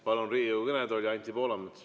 Palun Riigikogu kõnetooli Anti Poolametsa.